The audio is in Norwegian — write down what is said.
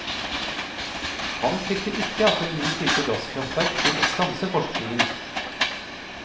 Han frykter ikke at en ny type gasskraftverk vil stanse forskningen.